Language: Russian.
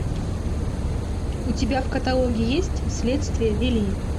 у тебя в каталоге есть следствие вели